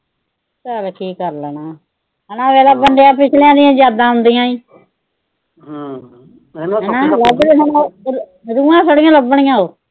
ਕੀ ਕਰ ਲੈਣਾ। ਹਨਾ। ਬੰਦਿਆਂ ਦੀਆਂ ਪਿਛਲੀਆਂ ਯਾਦਾਂ ਹੁੰਦੀਆਂ ਈ। ਰੂਹਾਂ ਥੋੜਾ ਲੱਭਣੀਆਂ ਉਹ।